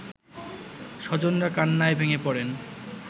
স্বজনরা কান্নায় ভেঙে পড়েন